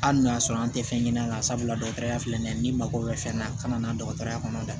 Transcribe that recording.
Hali n'o y'a sɔrɔ an tɛ fɛn ɲini an ka sabula dɔgɔtɔrɔya filɛ nin ye n'i mago bɛ fɛn na ka na dɔgɔtɔrɔya kɔnɔ da